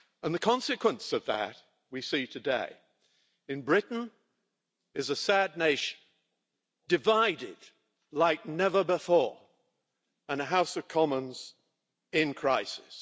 The consequence of that we see today Britain as a sad nation divided like never before and a House of Commons in crisis.